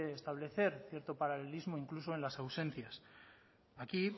establecer cierto paralelismo incluso en las ausencias aquí